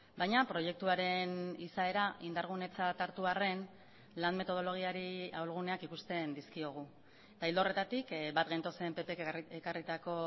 baina proiektuaren izaera indargunetzat hartu arren lan metodologiari ahulguneak ikusten dizkiogu eta ildo horretatik bat gentozen ppk ekarritako